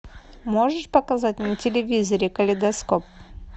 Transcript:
можешь показать на телевизоре калейдоскоп